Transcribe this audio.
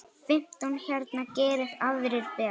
Fimmtán hérna, geri aðrir betur!